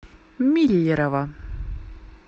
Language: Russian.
миллерово